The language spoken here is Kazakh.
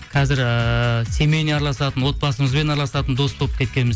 қазір ііі семейный араласатын отбасымызбен араласатын дос болып кеткенбіз